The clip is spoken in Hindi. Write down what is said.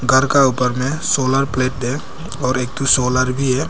घर का ऊपर में सोलर प्लेटें और एक ठो सोलर भी है।